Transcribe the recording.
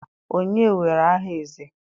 onye were aha eze?